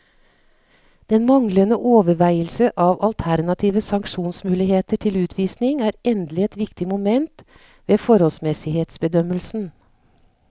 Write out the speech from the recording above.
Den manglende overveielse av alternative sanksjonsmuligheter til utvisning er endelig et viktig moment ved forholdsmessighetsbedømmelsen.